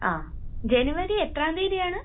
ങാ..ജനുവരി..എത്രാം തീയതിയാണ്?